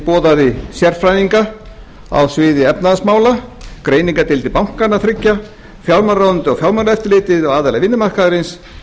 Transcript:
boðaði sérfræðinga á sviði efnahagsmála greiningardeildir bankanna þriggja fjármálaráðuneytið og fjármálaeftirlitið og aðila vinnumarkaðarins